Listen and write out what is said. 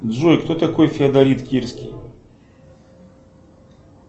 джой кто такой феодорит кирский